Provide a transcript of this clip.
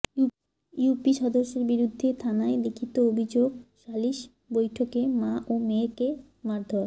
UP সদস্যের বিরুদ্ধে থানায় লিখিত অভিযোগ সালিস বৈঠকে মা ও মেয়েকে মারধর